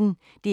DR P1